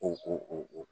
O